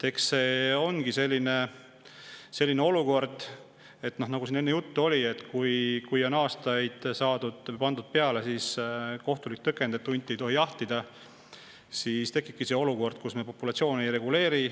Eks see ongi nii, nagu siin enne juttu oli, et kui on aastaid pandud peale kohtulik tõkend, et hunte ei tohi jahtida, siis tekibki olukord, kus me nende populatsiooni ei reguleeri.